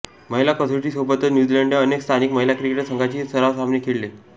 महिला कसोटी सोबतच न्यूझीलंडने अनेक स्थानिक महिला क्रिकेट संघांशी सराव सामने खेळले